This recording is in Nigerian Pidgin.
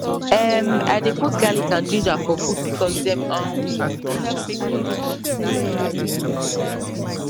emm i dey put garlic and ginger for food because dem um dey help make bodi strong the natural way